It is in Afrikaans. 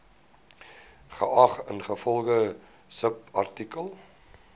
geag ingevolge subartikel